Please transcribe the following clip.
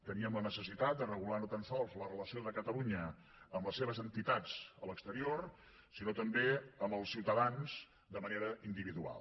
teníem la necessitat de regular no tan sols la relació de catalunya amb les seves entitats a l’exterior sinó també amb els ciutadans de manera individual